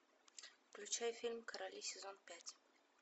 включай фильм короли сезон пять